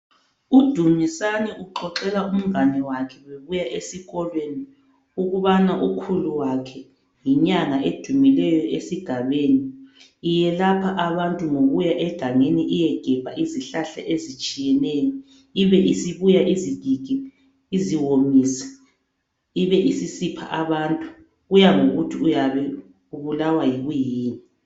UDumisani uxoxela umngane wakhe ngokuya esikolweni ukubana ukhulu wakhe yinyanga edumileyo esigabeni, iyelapha abantu ngokuya egangeni iyegebha izihlahla ezitshiyeneyo ibe isibuya izigige iziwomise ibe isisipha abantu kuya ngokuthi uyabe ubulawa yikwiyini.